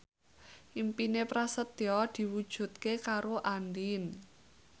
impine Prasetyo diwujudke karo Andien